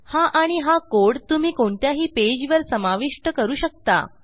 हा आणि हा कोड तुम्ही कोणत्याही पेजवर समाविष्ट करू शकता